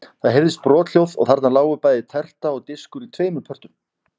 Það heyrðist brothljóð og þarna lágu bæði terta og diskur í tveimur pörtum.